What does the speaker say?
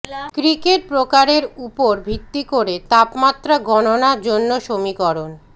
cricket প্রকারের উপর ভিত্তি করে তাপমাত্রা গণনা জন্য সমীকরণ